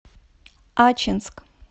ачинск